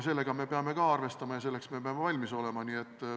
Sellega me peame arvestama ja selleks me peame valmis olema.